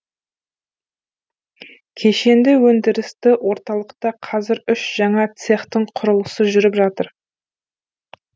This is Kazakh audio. кешенді өндірісті орталықта қазір үш жаңа цехтың құрылысы жүріп жатыр